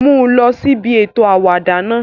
Mu u lọ si ibi eto awada náa!